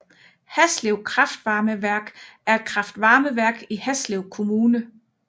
Haslev kraftvarmeværk er et kraftvarmeværk i Haslev Kommune